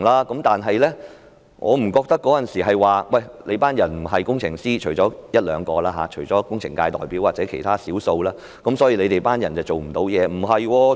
可是，我不認為當時由於我們不是工程師——除了一兩位工程界代表或其他少數議員外——我們便做不了甚麼。